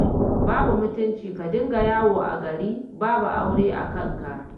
Babu mutunci ka dinga yawo a gari babu aure a kanka